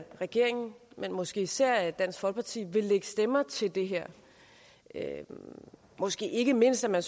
regeringen men måske især dansk folkeparti vil lægge stemmer til det her måske ikke mindst når